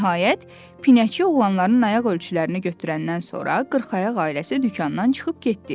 Nəhayət, pinəçi oğlanların ayaq ölçülərini götürəndən sonra qırxayaq ailəsi dükandan çıxıb getdi.